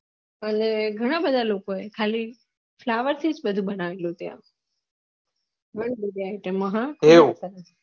અને ઘણા બધા લોકો એ ખાલી ફ્લોવેર થી બધું બનાવિયું ત્યાં